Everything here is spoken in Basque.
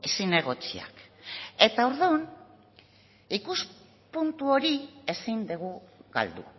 zinegotziak eta orduan ikuspuntu hori ezin dugu galdu